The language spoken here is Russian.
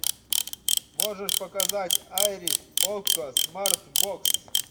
можешь показать айрис окко смарт бокс